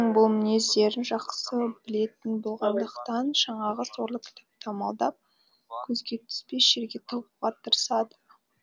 бұл мінездерін жақсы білетін болғандықтан жаңағы сорлы кітапты амалдап көзге түспес жерге тығуға тырысады